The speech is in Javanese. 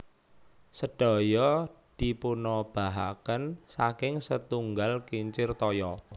Sedaya dipunobahaken saking setunggal kincir toya